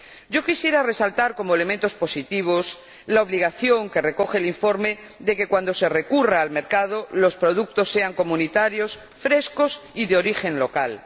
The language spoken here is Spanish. Yo quisiera resaltar como elementos positivos la obligación que recoge el informe de que, cuando se recurra al mercado, los productos sean comunitarios, frescos y de origen local.